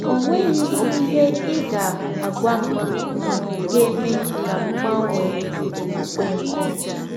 Ọ nweghị ihe ị ga - agwa m ga - eme ka m gbanwee ọkpụkpe m. ”